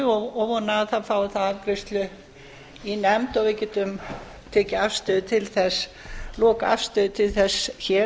og vona að það fái þá afgreiðslu í nefnd og að við getum tekið lokaafstöðu til þess hér